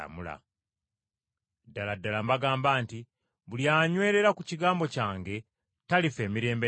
Ddala ddala mbagamba nti, Buli anywerera ku kigambo kyange talifa emirembe n’emirembe.”